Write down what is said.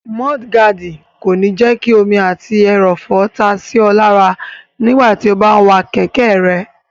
Múdúgáàdì kò ní jẹ́ kí omi àti ẹrọ̀fọ̀ ta sí ọ lára nígbàtí o bá n wa kẹ̀kẹ́ rẹ